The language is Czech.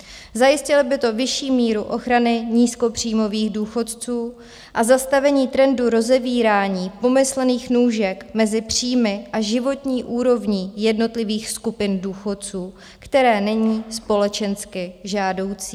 Zajistilo by to vyšší míru ochrany nízkopříjmových důchodců a zastavení trendu rozevírání pomyslných nůžek mezi příjmy a životní úrovní jednotlivých skupin důchodců, které není společensky žádoucí.